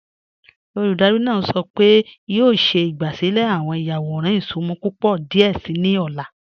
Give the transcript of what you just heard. Olúdárì náà sọ́ pẹ̀ẹ̀ è a yọ̀ọ̀ ṣẹ̀ ìgbàsílẹ̀ awọn ìyàwọ̀ràn ìṣùnmọ̀ púpọ̀ díẹ̀ sí ni ọ̀la.